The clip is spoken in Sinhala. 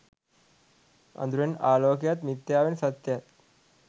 අඳුරෙන් ආලෝකයත් මිත්‍යාවෙන් සත්‍යයත්